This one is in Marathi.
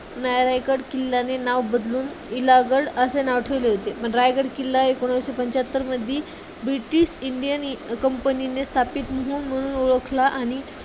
रायगड किल्ला हे नाव बदलून इलाहगड असे नाव ठेवले होते. रायगड किल्ला एकोणविसशे पंच्याहत्तरमध्यी ब्रिटिश इंडियन कंपनीने स्थापित म्हणून म्हणून ओळखला आणि